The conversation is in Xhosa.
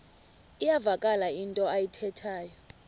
iyavakala into ayithethayo